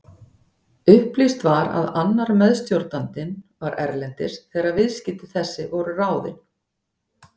Upplýst var að annar meðstjórnandinn var erlendis þegar viðskipti þessi voru ráðin.